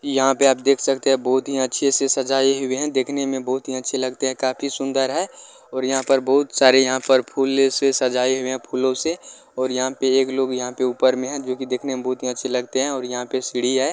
यहां आप देख सकते है बहुत ही अच्छे से सजाए हुए हैं देखने में बहुत ही अच्छे लगते है काफी सुंदर है और यहां पे बहुत सारे यहाँ पर फूले से सजाए हुए है फूलों से और यहाँ पे एक लोग यहाँ पे ऊपर में है जो की देखने में बहुत अच्छे लगते है और यहां पे सीढ़ी है।